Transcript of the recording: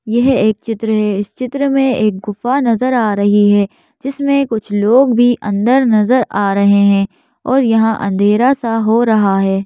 यह एक चित्र है इस चित्र में एक गुफा नजर आ रही है जिसमें कुछ लोग भी अंदर नजर आ रहे हैं और यहां अंधेरा सा हो रहा है।